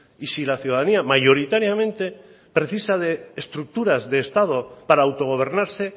y si la ciudadanía mayoritariamente precisa de estructuras de estado para autogobernarse